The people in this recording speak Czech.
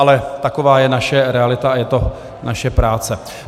Ale taková je naše realita a je to naše práce.